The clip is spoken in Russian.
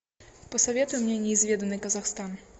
посоветуй мне неизведанный казахстан